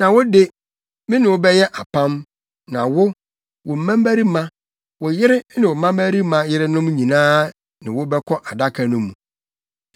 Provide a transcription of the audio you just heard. Na wo de, me ne wo bɛyɛ apam; na wo, wo mmabarima, wo yere ne wo mmabarima yerenom nyinaa ne wo bɛba Adaka no mu.